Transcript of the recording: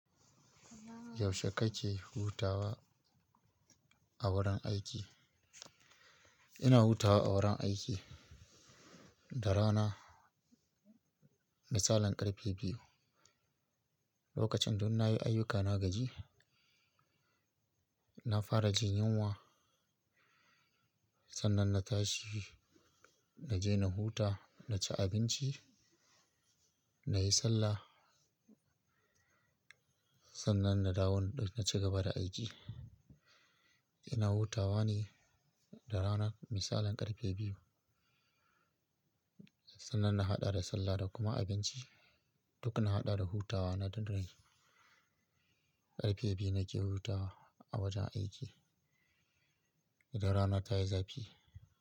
Yaushe kake hutawa a wurin aiki? Ina hutawa a wurin aiki da rana misalin ƙarfe biyu. Lokacin duk na yi ayyuka na gaji, na fara jin yunwa. Sannan na tashi na je na huta, na ci abinci, na yi sallah. Sannan na dawo na ci gaba da aiki. Ina hutawa ne da rana misalin ƙarfe biyu. Sannan na haɗa da sallah da kuma abinci. Duk na haɗa da hutawa na tun tuni. Ƙarfe biyu nake hutawa a wajen aiki idan rana ta yi zafi.